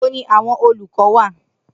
Nibo ni awọn olukọ wa?